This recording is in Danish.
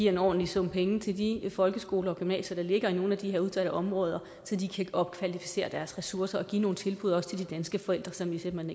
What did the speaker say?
en ordentlig sum penge til de folkeskoler og gymnasier der ligger i nogle af de her udsatte områder så de kan opkvalificere deres ressourcer og også give nogle tilbud til de danske forældre som de simpelt